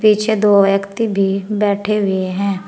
पीछे दो व्यक्ति भी बैठे हुए हैं।